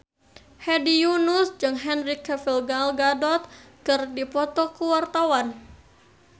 Hedi Yunus jeung Henry Cavill Gal Gadot keur dipoto ku wartawan